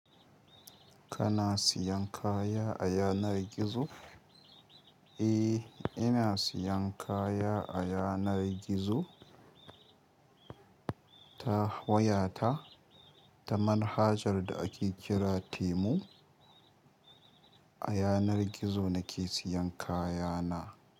Kana siyan kaya a yanar gizo? Eh, ina siyan kaya a yanar gizo. Ta wayata ta manhajar da ake ƙira Temu, a yanar gizo nake siyan kayana.